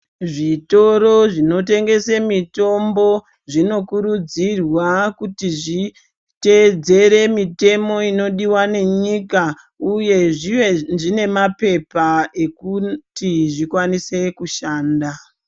Zvinotoro zvinotengesa mitombo zvinokurudzirwa kuti zviteedzere mutemo inodiwa nenyika uye zvive zvine mapepa ekuti zvikwanise kushanda.